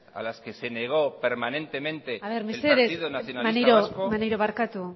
a las que se negó permanentemente a ver mesedez maneiro maneiro barkatu